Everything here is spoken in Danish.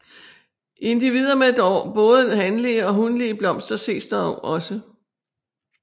Individer med både hanlige og hunlige blomster ses dog også